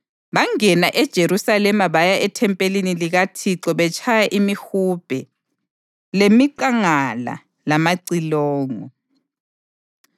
Bangena eJerusalema baya ethempelini likaThixo betshaya imihubhe lemiqangala lamacilongo.